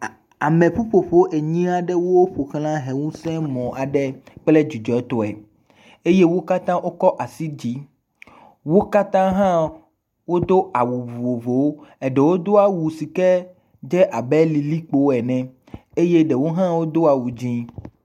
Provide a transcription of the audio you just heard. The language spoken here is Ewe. A ame ƒuƒoƒo enyi aɖewo ƒoxlã ʋe ŋusẽ mɔ kple dzidzɔtɔe eye wo katã wokɔ asi ɖe dzi. Wo katã hã wodo awu vovovowo eɖewo do awu si ked ze abe lilikpo ene eye ɖewo hã do awu dzɛ̃.